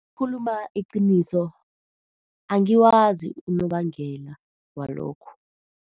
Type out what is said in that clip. Ukukhuluma iqiniso, angiwazi unobangela walokhu.